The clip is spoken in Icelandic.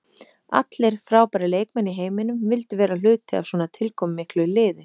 Allir frábærir leikmenn í heiminum vildu vera hluti af svona tilkomumiklu liði.